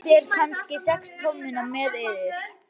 Tókuð þér kannski sex tommuna með yður?